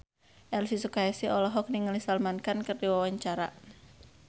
Elvy Sukaesih olohok ningali Salman Khan keur diwawancara